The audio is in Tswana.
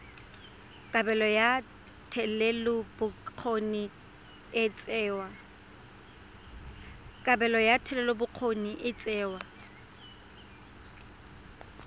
kabelo ya thetelelobokgoni e tsewa